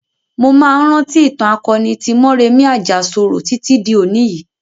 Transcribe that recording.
Mo máa ń rántí ìtàn akoni tí Mọ́remí Àjàṣorò títí di òní yìí.